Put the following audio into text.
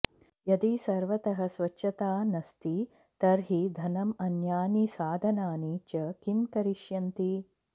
यदि सर्वतः स्वच्छता नस्ति तर्हि धनं अन्यानि साधनानि च किं करिष्यन्ति